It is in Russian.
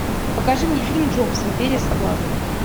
покажи мне фильм джобс империя соблазна